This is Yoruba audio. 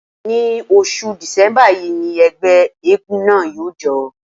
Ní oṣù Dìsẹ́mbà yí ni ẹgbẹ́ éégún náà yóò jó.